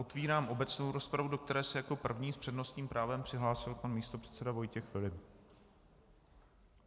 Otevírám obecnou rozpravu, do které se jako první s přednostním právem přihlásil pan místopředseda Vojtěch Filip.